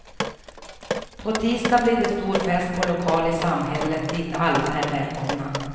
På tisdag blir det stor fest på lokal i samhället dit alla är välkomna.